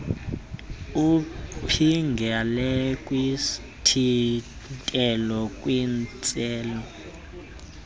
uphingele kwisithintelo kwintsele